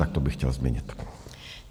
Tak to bych chtěl změnit.